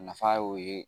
Nafa y'o ye